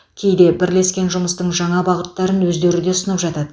кейде бірлескен жұмыстың жаңа бағыттарын өздері де ұсынып жатады